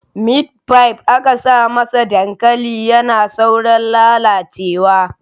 Mitfai aka sa masa dankali yana saurin lalacewa